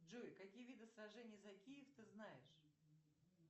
джой какие виды сражений за киев ты знаешь